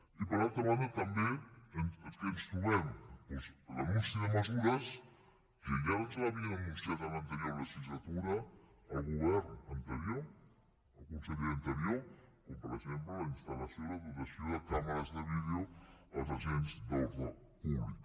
i per altra banda també amb què ens trobem doncs l’anunci de mesures que ja ens havia anunciat en l’anterior legislatura el govern anterior el conseller anterior com per exemple la instal·lació i la dotació de càmeres de vídeo als agents d’ordre públic